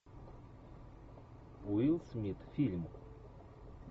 уилл смит фильм